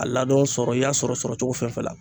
A ladon sɔrɔ i y'a sɔrɔ sɔrɔ cogo fɛn fɛn la